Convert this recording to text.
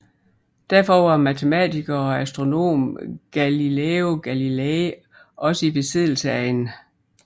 Derfor var matematiker og astronom Galileo Galilei også i besiddelse af en